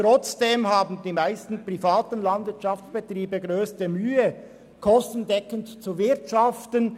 Trotzdem haben die meisten privaten Landwirtschaftsbetriebe die grösste Mühe, kostendeckend zu wirtschaften.